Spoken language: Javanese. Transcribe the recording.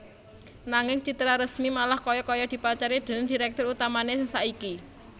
Nanging Citraresmi malah kaya kaya dipacari déning direktur utamané sing saiki